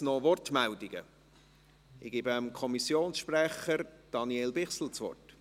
– Ich gebe dem Kommissionspräsidenten, Daniel Bichsel, das Wort.